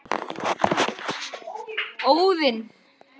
Strýkur hár mitt.